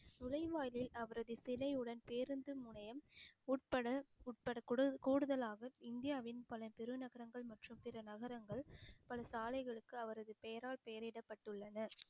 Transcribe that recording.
நுழைவாயிலில் அவரது சிலையுடன் பேருந்து நிலையம் உட்பட உட்பட கூட~ கூடுதலாக இந்தியாவின் பல பெருநகரங்கள் மற்றும் பிற நகரங்கள் பல சாலைகளுக்கு அவரது பெயரால் பெயரிடப்பட்டுள்ளன